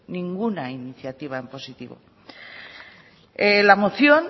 ninguna iniciativa en positivo la moción